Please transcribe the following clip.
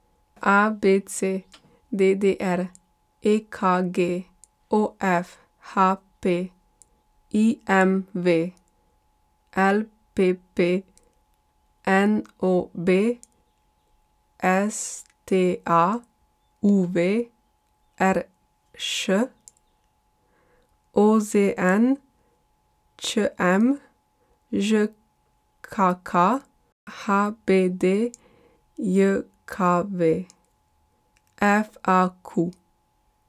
A B C; D D R; E K G; O F; H P; I M V; L P P; N O B; S T A; U V; R Š; O Z N; Č M; Ž K K; H B D J K V; F A Q.